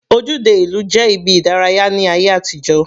Ojúde ìlú jẹ́ ibi ìdárayá ní ayé àtijó.